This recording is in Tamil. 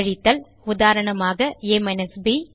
கழித்தல் உதாரணமாக a ப்